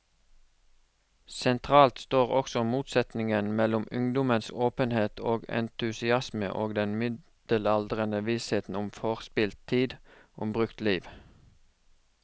Sentralt står også motsetningen mellom ungdommens åpenhet og entusiasme og den middelaldrendes visshet om forspilt tid, om brukt liv.